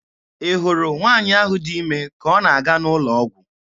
Ị hụrụ nwaanyị ahụ dị ime ka ọ na-aga n'ụlọ ọgwụ.